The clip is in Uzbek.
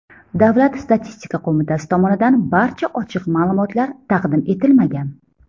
Davlat statistika qo‘mitasi tomonidan barcha ochiq ma’lumotlar taqdim etilmagan.